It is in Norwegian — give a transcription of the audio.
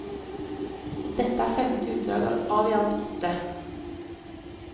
Dette er femte utdrag av i alt åtte.